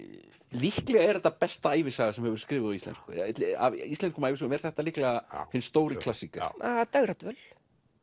líklega er þetta besta ævisaga sem hefur verið skrifuð á íslensku af íslenskum ævisögum er þetta líklega hinn stóri klassíker ja dægradvöl